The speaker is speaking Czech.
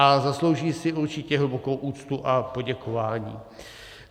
A zaslouží si určitě hlubokou úctu a poděkování.